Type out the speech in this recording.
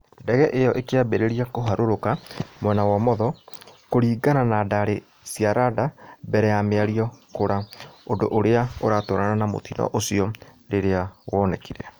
Ndege ĩyo ĩkĩambĩrĩria kũharũrũka mwena wa ũmotho, kũringana na ndarĩ cia rada mbere ya mĩario kũra ũndũ ũrĩa ũratwarana na mũtino ũcio rĩrĩa wonekire